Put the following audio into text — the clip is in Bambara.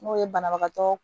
N'o ye banabagatɔ